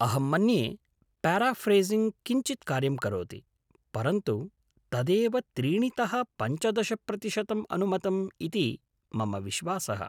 अहं मन्ये प्याराफ़्रेसिंग् किञ्चित् कार्यं करोति, परन्तु तदेव त्रीणितः पञ्चदश प्रतिशतम् अनुमतम् इति मम विश्वासः।